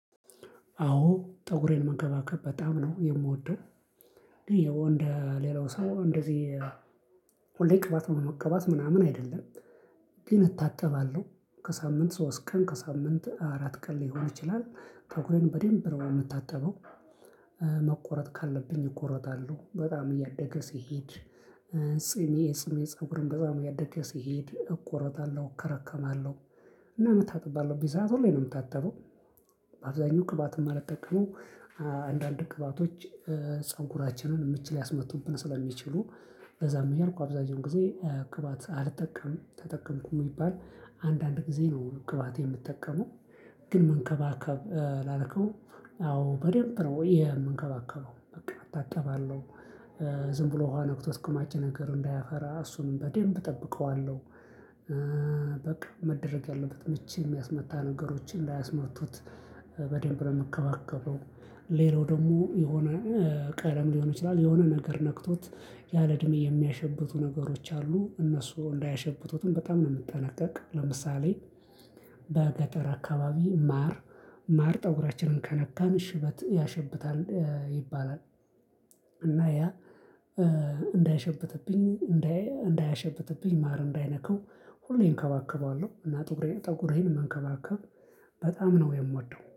አዎ ፀጉሬን መከባከብ በጣም ነው የምወደው። እንደ ሌላው ሰው እንደዚህ ሁሌ ቅባት መቅባት ምናምን አይደለም። ግን እታጠባለሁ ከሳምንት ሶስት ቀን ከሳምንት አራት ቀን ሊሆን ይችላል ፀጉሬን በደንብ ነው የምታጠበው። መቆረጥ ካለብኝ እቆረጣለሁ በጣም እያደገ ሲሄድ። ፂሜ ፂሜ ፀጉርም በጣም እያደገ ሲሄድ እቆረጣለሁ እከረከማለሁ። እና መታጠብ ባለብኝ ሰዓት ሁሌ ነው የምታጠበው። አብዛኛው ቅባትም የማልጠቀመው አንዳንድ ቅባቶች ፀጉራችንን ምች ሊያስመቱብን ስለሚችሉ። ለዛም አያልኩ አብዛኛውን ጊዜ ቅባት አልጠቀም ተጠቀምኩም ይባል አንዳንድ ጊዜ ነው ቅባት የምጠቀመው። ግን መንከባከብ ላልከው አዎ በደንብ ነው የምንከባከበው በቃ እታጠባለሁ። ዝም ብሎ ውሃ ነክቶት ቅማጭ ነገር እንዳያፈራ እሱንም በደንብ እጠብቀዋለሁ። በቃ መደረግ ያለበት ምች የሚያስመታ ነገሮችን ላያስመርቱት በደንብ ነው የምከባከበው። ሌላው ደግሞ የሆነ ቀለም ሊሆን ይችላል የሆነ ነገር ነክቶት ያለ እድሜ የሚያሸብቱ ነገሮች አሉ እነሱ እንዳያሸብቱትም በጣም ነው የምጠነቀቅ። ለምሳሌ በገጠር አካባቢ ማር ማር ጠጉራችንን ከነካን ሽበት ያሸብታል ይባላል። እና ያ እንዳያሸብትብኝ እንዳያሸብትብኝ ማር እንዳይነካው። ሁሌም እከባከባለሁ እና ጠጉሬን መንከባከብ በጣም ነው የምወደው